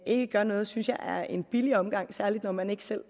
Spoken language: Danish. ikke gør noget synes jeg er en billig omgang særlig når man ikke selv